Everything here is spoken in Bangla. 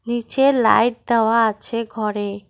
নিচে লাইট দেওয়া আছে ঘরে।